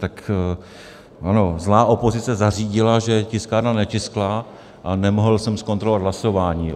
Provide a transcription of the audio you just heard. Ano, zlá opozice zařídila, že tiskárna netiskla a nemohl jsem zkontrolovat hlasování.